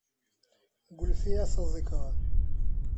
гульфия сазыкова